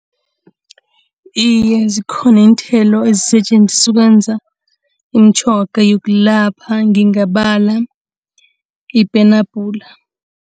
Iye, zikhona iinthelo ezisetjenziswa ukwenza imitjhoga yokulapha ngingabala ipenabhula.